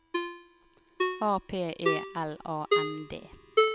A P E L A N D